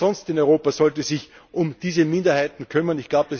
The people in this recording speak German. Denn wer sonst in Europa sollte sich um diese Minderheiten kümmern?